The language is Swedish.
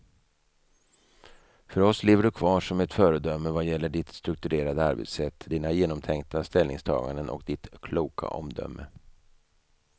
För oss lever du kvar som ett föredöme vad gäller ditt strukturerade arbetssätt, dina genomtänkta ställningstaganden och ditt kloka omdöme.